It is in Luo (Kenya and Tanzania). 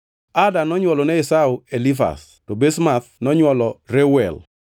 Ada nonywolone Esau Elifaz, to Basemath nonywolo Reuel,